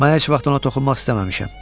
Mən heç vaxt ona toxunmaq istəməmişəm.